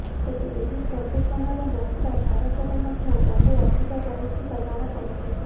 ତେବେ ଏହି ପ୍ରଦୂଷଣର ମାତ୍ରା ଭାରତରେ ମଧ୍ୟ ବହୁ ଅଧିକ ରହିଥିବା ଜଣାପଡିଛି